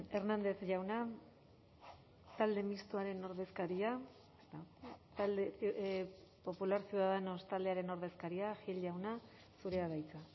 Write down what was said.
hernández jauna talde mistoaren ordezkaria talde popular ciudadanos taldearen ordezkaria gil jauna zurea da hitza